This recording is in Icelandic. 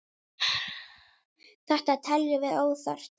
Þetta teljum við óþarft.